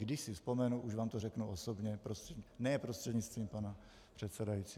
Když si vzpomenu, už vám to řeknu osobně, ne prostřednictvím pana předsedajícího.